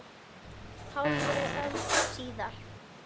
Hálfri öld síðar.